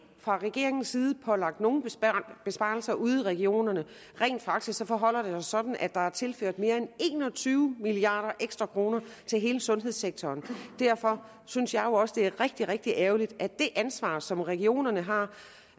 fra regeringens side er pålagt nogen besparelser ude i regionerne rent faktisk forholder det sig sådan at der er tilført mere end en og tyve milliarder ekstra kroner til hele sundhedssektoren og derfor synes jeg jo også det er rigtig rigtig ærgerligt at det ansvar som regionerne har